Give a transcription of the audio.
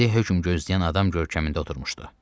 İndi hökm gözləyən adam görkəmində oturmuşdu.